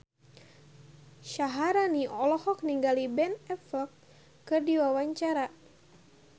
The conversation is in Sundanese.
Syaharani olohok ningali Ben Affleck keur diwawancara